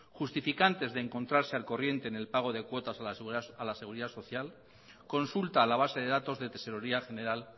justificantes de encontrarse al corriente en el pago de cuotas a la seguridad social consulta a la base de datos de tesorería general